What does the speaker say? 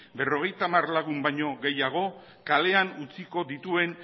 berrogeita hamar lagun baino gehiago kalean utziko dituen